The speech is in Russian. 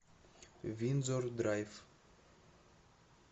виндзор драйв